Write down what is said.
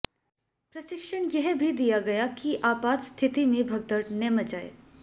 प्रशिक्षण यह भी दिया गया कि आपात स्थिति में भगदड़ न मचाएं